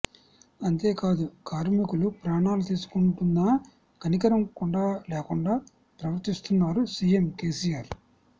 అంతే కాదు కార్మికులు ప్రాణాలు తీసుకుంటున్నా కనికరం కూడా లేకుండా ప్రవర్తిస్తున్నారు సీఎం కేసీఆర్